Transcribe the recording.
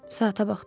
Saata baxdım.